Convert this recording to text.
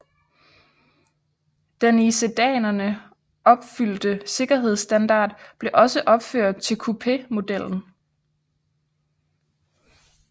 Den i sedanerne opfyldte sikkerhedsstandard blev også overført til coupémodellen